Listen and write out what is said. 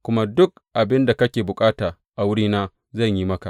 Kuma duk abin da kake bukata a wurina, zan yi maka.